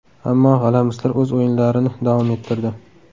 Ammo g‘alamislar o‘z o‘yinlarini davom ettirdi.